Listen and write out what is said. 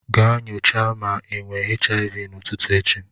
Ga nyocha ma ị nwe HIV n'ụtutu echi.